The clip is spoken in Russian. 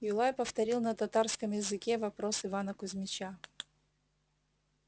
юлай повторил на татарском языке вопрос ивана кузмича